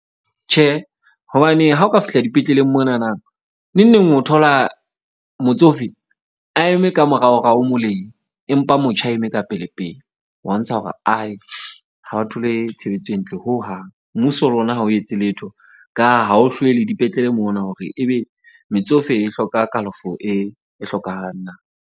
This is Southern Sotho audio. Tjhe, hobane ha o ka fihla dipetleleng monana neng neng o thola motsofe a eme ka morao rao moleng. Empa motjha a eme ka pele pele wa ntsha hore ha a thole tshebetso e ntle hohang. Mmuso le ona ha o etse letho ka ha o hlwele dipetlele mona, hore ebe metsofe e hloka kalafo e hlokahalang na.